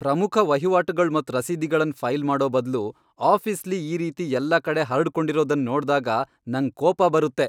ಪ್ರಮುಖ ವಹಿವಾಟುಗಳ್ ಮತ್ ರಸೀದಿಗಳನ್ ಫೈಲ್ ಮಾಡೋ ಬದ್ಲು ಆಫೀಸ್ಲಿ ಈ ರೀತಿ ಎಲ್ಲ ಕಡೆ ಹರ್ಡ್ಕೊಂಡಿರೋದನ್ ನೋಡ್ದಾಗ ನಂಗ್ ಕೋಪ ಬರುತ್ತೆ.